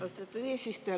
Austatud eesistuja!